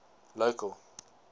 local